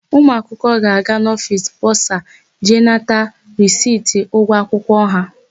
Ụmụakwụkwọ ga-aga n'ofiisi bọsa jee nata risiti ụgwọ akwụkwọ ha.